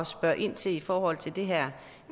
spørge ind til i forhold til det her